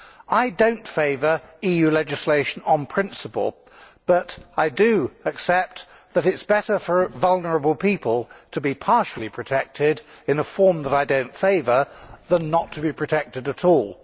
I do not favour EU legislation on principle, but I do accept that it is better for vulnerable people to be partially protected in a form that I do not favour than not to be protected at all.